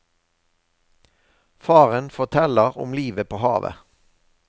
Faren forteller om livet på havet.